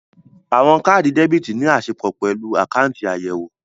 Àwọn káàdì debítì ní asopọ̀ pẹ̀lú àkáùntì àyẹ̀wò